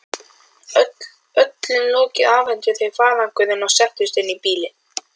Öllum lokið afhentu þau farangurinn og settust inn í bílinn.